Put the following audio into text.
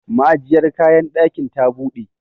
ma'ajiyar kayan dakin ta bude